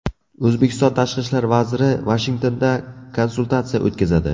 O‘zbekiston tashqi ishlar vaziri Vashingtonda konsultatsiya o‘tkazadi.